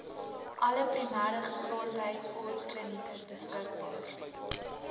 alle primêregesondheidsorgklinieke beskikbaar